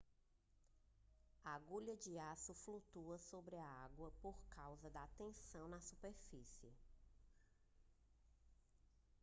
a agulha de aço flutua sobre a água por causa da tensão na superfície